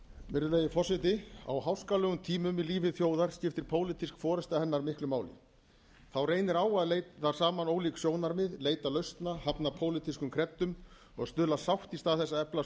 virðulegi forseti á háskalegum tímum lífi þjóðar skiptir pólitísk forusta hennar miklu máli þá reynir á að leiða saman ólík sjónarmið leita lausna hafna pólitískum kreddum og stuðla að sátt í stað þess að efla